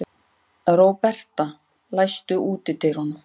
Róberta, læstu útidyrunum.